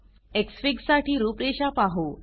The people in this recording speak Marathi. एक्सफिग साठी रूपरेषा पाहू